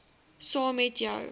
saam met jou